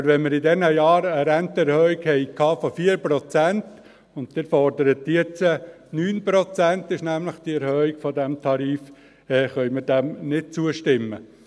Aber weil wir in diesen Jahren eine Rentenerhöhung von 4 Prozent hatten, und Sie fordern jetzt 9 Prozent – das ist nämlich die Erhöhung dieses Tarifs -–, können wir dem nicht zustimmen.